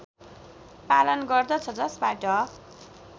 पालन गर्दछ जसबाट